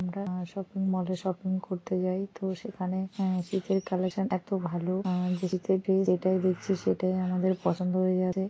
আমরা আআ শপিংমলে শপিং করতে যাই তো সেখানে অ্শআ তের কালেকশন এত ভালো সেটাই দেখছি সেটাই আমাদের পছন্দ হয়ে যাবে।